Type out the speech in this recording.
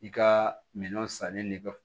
I ka minɛn sanni nɛgɛ